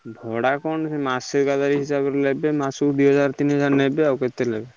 ଭଡା କଣ ମାସେ ଆଇଖା ଏକାଥରେ ହିସାବ କରି ନେବେ ମାସକୁ ଦିହଜାର ତିନିହଜାର ନେବେ ଆଉ କଣ।